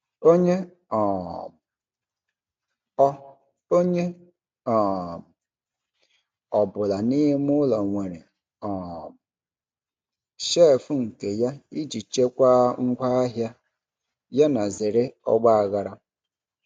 Onye um ọ Onye um ọ bụla n'ime ụlọ nwere um shelf nke ya iji chekwaa ngwa ahịa yana zere ọgba aghara.